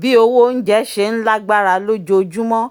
bí owó onjẹ ṣe ń lágbára lójoojúmọ́